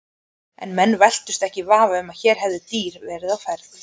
En menn velktust ekki í vafa um að hér hefði dýrið verið á ferð.